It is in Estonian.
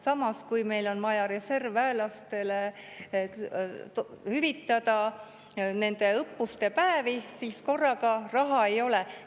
Samas, kui meil on vaja reservväelastele hüvitada nende õppuste päevi, siis korraga raha ei ole.